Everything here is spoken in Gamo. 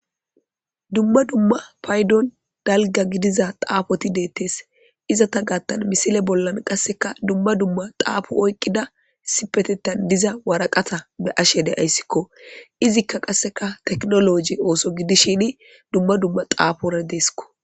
Dumma dumma paydon dalgga gidiza xaafothi deeththes; izatha gaththan misileza bolla qassika dumma dumma xaafo oyqqida issippetheththan diza waraqata be7ashe de7aysikoo; izikka qassika teknoolooje ooso gidishiini dumma dumma xaafoora deesikoo.